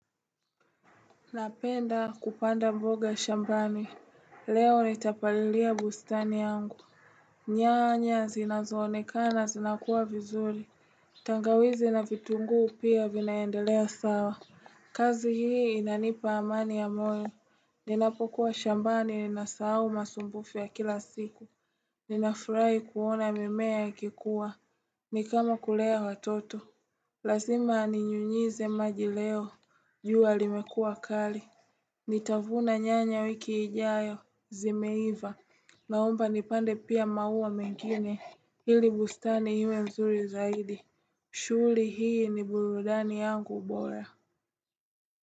Napenda kupanda mboga shambani, leo nitapalilia bustani yangu nyanya zinazoonekana zinakuwa vizuri tangawizi na vitunguu pia vinaendelea sawa kazi hii inanipa amani ya moyo, ninapokuwa shambani ninasahau masumbufu ya kila siku Ninafurai kuona mimea ikikua, nikama kulea watoto Lazima ninyunyize maji leo, jua limekuwa kali Nitavuna nyanya wiki ijayo zimeiva na omba nipande pia maua mengine hili bustani iwe mzuri zaidi shughuli hii ni burudani yangu bora.